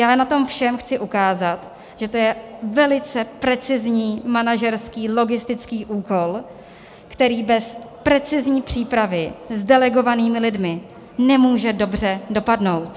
Já na tom všem chci ukázat, že to je velice precizní manažerský logistický úkol, který bez precizní přípravy s delegovanými lidmi nemůže dobře dopadnout.